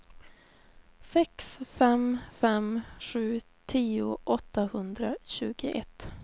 sex fem fem sju tio åttahundratjugoett